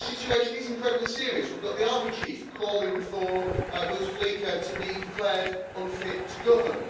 But the situation is incredibly serious we've got the army chief calling for Bouteflika to be declared unfit to govern.